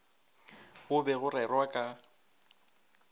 go be go rerwa ka